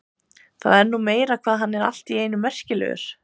Það er nú meira hvað hann er allt í einu merkilegur.